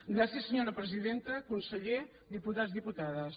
gràcies senyora presidenta conseller diputats diputades